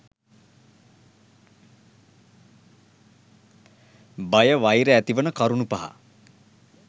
බය වෛර ඇතිවන කරුණු පහ